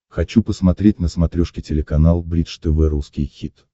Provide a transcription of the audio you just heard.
хочу посмотреть на смотрешке телеканал бридж тв русский хит